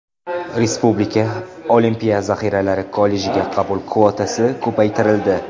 Respublika olimpiya zaxiralari kollejiga qabul kvotasi ko‘paytirildi.